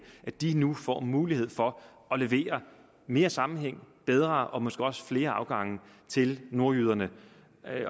at de nu får mulighed for at levere mere sammenhæng bedre og måske også flere afgange til nordjyderne